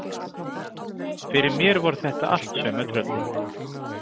Fyrir mér voru þetta allt sömu tröllin.